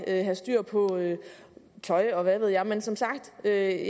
at have styr på tøj og hvad ved jeg men som sagt jeg